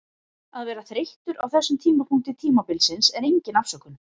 Að vera þreyttur á þessum tímapunkti tímabilsins er engin afsökun.